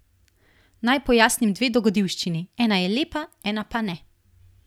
Naj pojasnim dve dogodivščini, ena je lepa, ena pa ne.